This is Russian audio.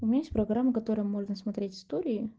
иметь программу которая можно смотреть истории